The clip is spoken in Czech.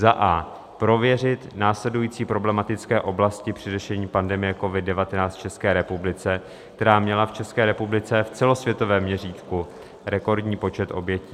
A. prověřit následující problematické oblasti při řešení pandemie COVID-19 v České republice, která měla v České republice v celosvětovém měřítku rekordní počet obětí: